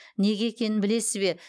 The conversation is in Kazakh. неге екенін білесіз бе